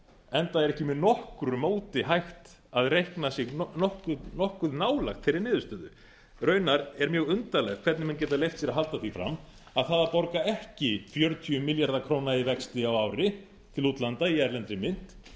enda er ekki með nokkru móti hægt að reikna sig nokkuð nálægt þeirri niðurstöðu raunar er mjög undarlegt hvernig menn geta leyft sér að halda því fram að það að borga ekki fjörutíu milljarða króna í vexti á ári til útlanda í erlendri mynt